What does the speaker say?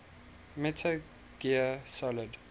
metal gear solid